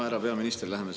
Härra peaminister!